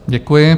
Děkuji.